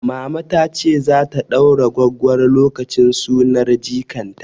Mama tace zata ɗaura gwaggwaro lokacin sunar jikan ta